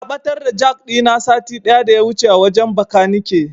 Na ɓatar da jak ɗina sati ɗaya daya wuce a wajen Bakanike.